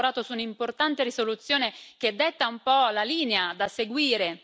Abbiamo lavorato su un'importante risoluzione che detta un po' la linea da seguire.